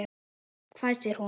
hvæsir hún.